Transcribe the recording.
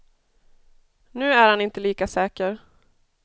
Nu är han inte lika säker.